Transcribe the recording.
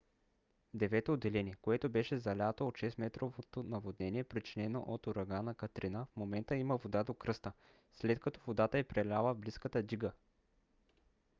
в девето отделение което беше залято от 6-метровото наводнение причинено от урагана катрина в момента има вода до кръста след като водата е преляла близката дига